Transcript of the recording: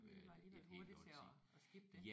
I var I var hurtige til at at skippe det